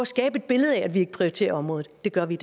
skabe et billede af at vi ikke prioriterer området det gør vi